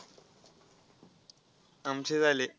आमचे झाले.